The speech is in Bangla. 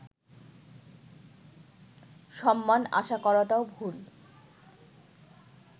সম্মান আশা করাটাও ভুল